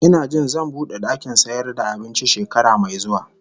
Ina jin zan bude dakin sayar da abinci shekara mai zuwa